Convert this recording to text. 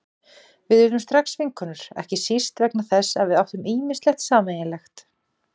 Við urðum strax vinkonur, ekki síst vegna þess að við áttum ýmislegt sameiginlegt.